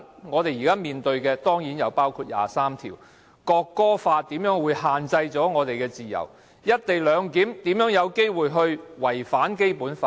我們接着面對的，當然包括第二十三條立法、《國歌法》如何限制我們的自由、"一地兩檢"如何有機會違反《基本法》？